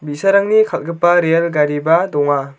bi·sarangni kal·gipa rel gariba donga.